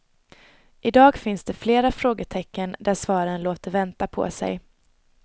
I dag finns det flera frågetecken där svaren låter vänta på sig.